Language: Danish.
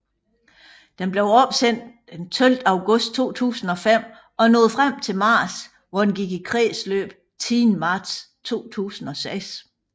Den blev opsendt 12 august 2005 og nåede frem til Mars hvor den gik i kredsløb 10 marts 2006